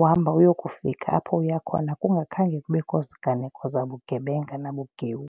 Uhamba uyokufika apho uya khona kungakhange kubekho ziganeko zabugebenga nabugewu.